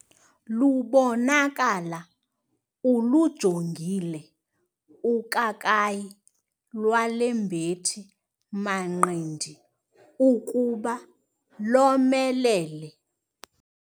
Lubonakala ulujongile ukakayi lwale mbethi-manqindi ukuba lomelele.